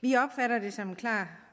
vi opfatter det som en klar